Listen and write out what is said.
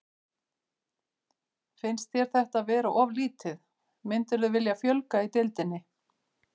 Finnst þér þetta vera of lítið, myndirðu vilja fjölga í deildinni?